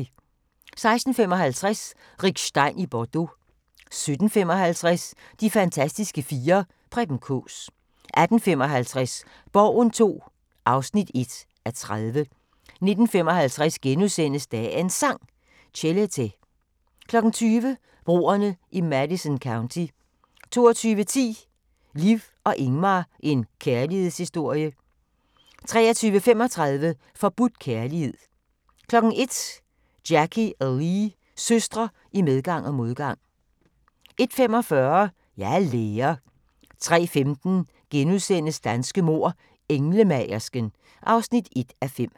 16:55: Rick Stein i Bordeaux 17:55: De fantastiske fire: Preben Kaas 18:55: Borgen II (1:30) 19:55: Dagens Sang: Chelete * 20:00: Broerne i Madison County 22:10: Liv og Ingmar – en kærlighedshistorie 23:35: Forbudt kærlighed 01:00: Jackie og Lee – søstre i medgang og modgang 01:45: Jeg er lærer 03:15: Danske mord: Englemagersken (1:5)*